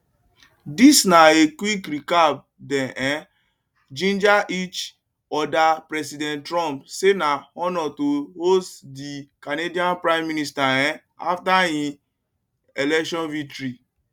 dis na a quick recap dem um ginger each odapresident trump say na honour to host di canadian prime minister um afta im election victory